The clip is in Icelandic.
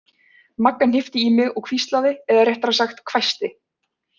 Magga hnippti í mig og hvíslaði eða réttara sagt hvæsti